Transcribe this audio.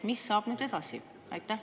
Mis saab nüüd edasi?